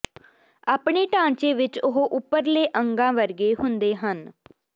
ਆਪਣੇ ਢਾਂਚੇ ਵਿਚ ਉਹ ਉੱਪਰਲੇ ਅੰਗਾਂ ਵਰਗੇ ਹੁੰਦੇ ਹਨ